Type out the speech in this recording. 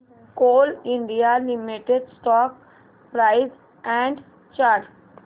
Coal India Limited stock price and chart